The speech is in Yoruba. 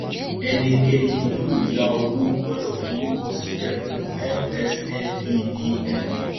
ẹnikẹni yóò yá owó gbọdọ forúkọ sílẹ fún msmedf